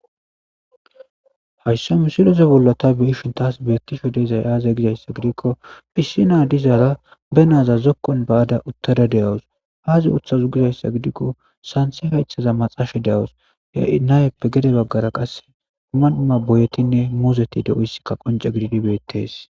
haysso misiloze bollota biishin taas beettisho deezay aaza gizayssa gidikko phissi na dizaaga be naaza zokkon ba7ada uttada deyawus aazi uthazu gizayssa gidikko santhi haythaza maxasha de7awus nayeppe gede baggara qasse umanuma boyetinne muuzeti de7oyssikka qonce gididi beettes